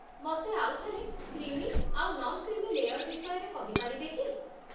ମତେ ଆଉ ଥରେ କ୍ରିମି ଆଉ ନନ୍‌କ୍ରୀମି ଲେୟର୍ ବିଷୟରେ କହିପାରିବେ କି?